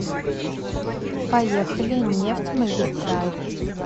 поехали нефтьмагистраль